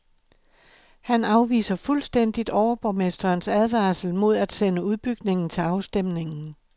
Han afviser fuldstændigt overborgmesterens advarsel mod at sende udbygningen til afstemning.